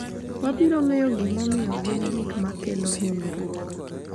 Wabiro ng’eyo gimomiyo gin gik ma kelo hinyruok .